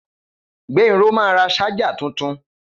Gbénró ma ra ṣájà tuntun